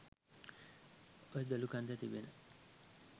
ඔය දොළුකන්දෙ තිබෙන